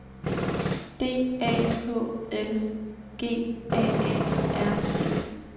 D A H L G A A R D